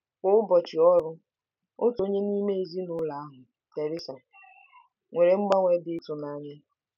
Kwa ụbọchị ọrụ, otu onye n'ime ezinụlọ ahụ, Teresa, nwere mgbanwe dị ịtụnanya.